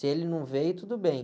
Se ele não veio, tudo bem.